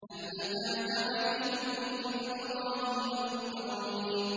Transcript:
هَلْ أَتَاكَ حَدِيثُ ضَيْفِ إِبْرَاهِيمَ الْمُكْرَمِينَ